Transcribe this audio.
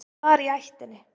Það var í ættinni.